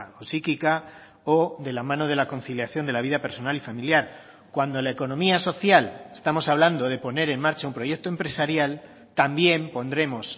o psíquica o de la mano de la conciliación de la vida personal y familiar cuando la economía social estamos hablando de poner en marcha un proyecto empresarial también pondremos